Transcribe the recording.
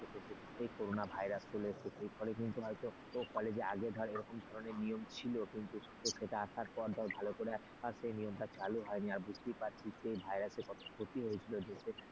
এই corona virus চলে এসেছে সেই ফলে কিন্তু হয়তো কলেজে আগে ধরে এরকম ধরনের নিয়ম ছিল কিন্তু সেটা আসার পর ধর ভালো করে সে নিয়মটা চালু হয়নি বুঝতেই পারছি সেই virus র ক্ষতি হয়েছিল দেশের।